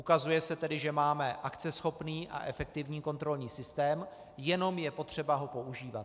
Ukazuje se tedy, že máme akceschopný a efektivní kontrolní systém, jenom je potřeba ho používat.